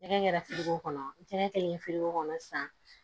Nɛgɛ gɛɛla fere ko kɔnɔ tɛgɛ kelen firigo kɔnɔ sisan